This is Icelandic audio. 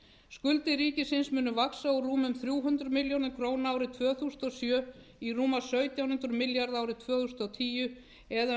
skuldir ríkisins munu vaxa úr rúmum þrjú hundruð milljörðum króna árið tvö þúsund og sjö í rúma sautján hundruð milljarða árið tvö þúsund og tíu það er um